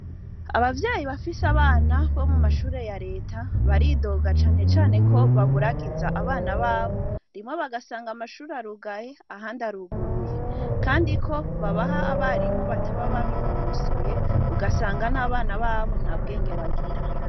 Abavyayi bafise abana bo mu mashure ya leta baridoga canecane ko baburagiza abana babo rimwe bagasanga amashure arugaye aha ndi aruguruye, kandi ko babaha abarimo bataba babinonosoye ugasanga n'abana babo nta bwenge bagira.